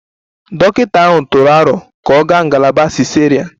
Dọkịta ahụ tụrụ aro ka ọ gaa ngalaba cesarean